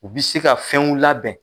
Bi se ka fɛnw labɛn